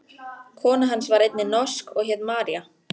Kona hans var einnig norsk og hét María.